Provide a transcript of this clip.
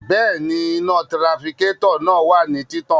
Bẹẹni, ina tirafikatọ naa wa ni titan